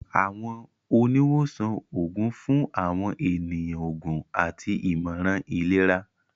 Àwọn oni wosan oogun fun awọn eniyan oògùn àti imọran ilera.